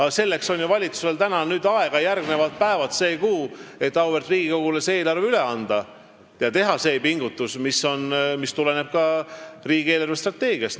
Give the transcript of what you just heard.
Aga selleks on ju valitsusel nüüd aega järgmised päevad, see kuu, et auväärt Riigikogule eelarve üle anda ja teha see pingutus, mis tuleneb riigi eelarvestrateegiast.